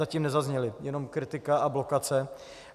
Zatím nezazněly, jenom kritika a blokace.